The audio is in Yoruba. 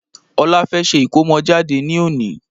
Ọlá fẹ́ ṣe ikomojade ní òní